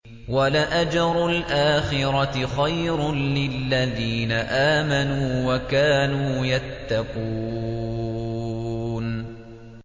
وَلَأَجْرُ الْآخِرَةِ خَيْرٌ لِّلَّذِينَ آمَنُوا وَكَانُوا يَتَّقُونَ